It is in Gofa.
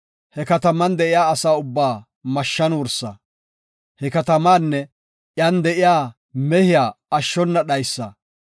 he kataman de7iya asa ubbaa mashshan wursa; he katamaanne iyan de7iya mehiya ashshona dhaysa.